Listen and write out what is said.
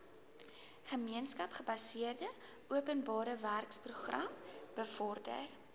gemeenskapsgebaseerde openbarewerkeprogram bevorder